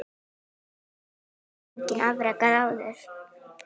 Slíkt hafði enginn afrekað áður.